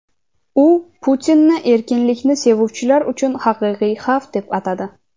u Putinni erkinlikni sevuvchilar uchun haqiqiy xavf deb atadi.